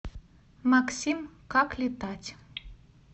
максим как летать